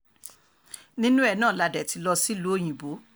nínú ẹ̀ náà la dé ti lọ sílùú òyìnbó